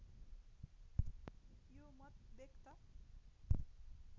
यो मत व्यक्त